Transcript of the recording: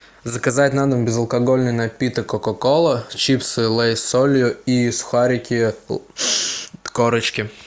заказать на дом безалкогольный напиток кока кола чипсы лейс с солью и сухарики корочки